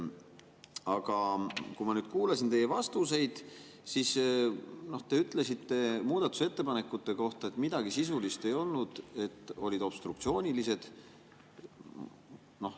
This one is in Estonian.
Aga kui ma kuulasin teie vastuseid, siis te ütlesite muudatusettepanekute kohta, et midagi sisulist ei olnud, olid obstruktsioonilised.